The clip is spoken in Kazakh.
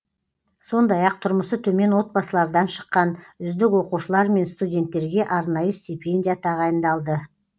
сондай ақ тұрмысы төмен отбасылардан шыққан үздік оқушылар мен студенттерге арнайы стипендия тағайындалды